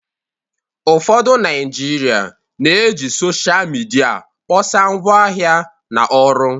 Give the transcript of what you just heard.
ụfọdụ Naijiria na-eji Sọsha midia kpọsaa ngwaahịa na ọrụ